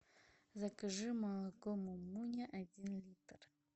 закажи молоко мумуня один литр